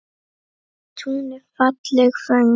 Á túni falleg föng.